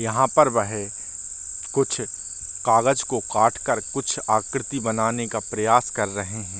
यहाँ पर वह कुछ कागज़ को काट कर कुछ आकृति बनाने का प्रयास कर रहे हैं।